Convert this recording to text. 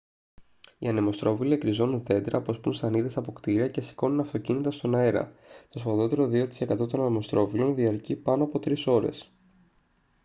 οι ανεμοστρόβιλοι εκριζώνουν δέντρα αποσπούν σανίδες από κτίρια και σηκώνουν αυτοκίνητα στον αέρα το σφοδρότερο 2% των ανεμοστρόβιλων διαρκεί πάνω από τρεις ώρες